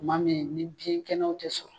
kuma min ni biyɛn kɛnɛ tɛ sɔrɔ.